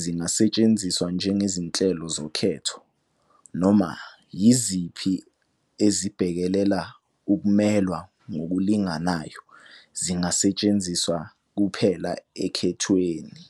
zingasetshenziswa njengezinhlelo zokhetho, noma yiziphi ezibhekelela ukumelwa ngokulinganayo zingasetshenziswa kuphela okhethweni.